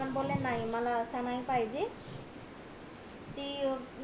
हे पण बोले नाही मला असं नाही पाहिजे ते